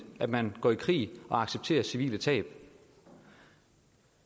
at man går i krig og accepterer civile tab